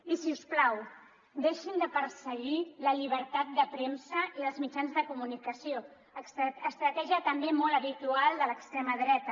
i si us plau deixin de perseguir la llibertat de premsa i dels mitjans de comunicació estratègia també molt habitual de l’extrema dreta